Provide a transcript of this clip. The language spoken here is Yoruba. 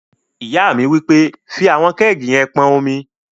Ìyá mi wí pé, "fí àwọn kẹ́ẹ̀gì yẹn pọn omi!"